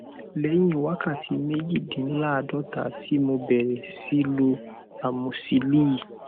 lẹyìn wákàtí méjìdínláàádọta tí mo bẹrẹ sí í lo amosíìlì